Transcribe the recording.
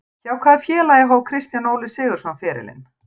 Hjá hvaða félagi hóf Kristján Óli Sigurðsson ferilinn?